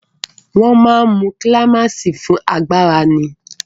Wọ́n máa ń mu kílámáìsì fún agbára ni.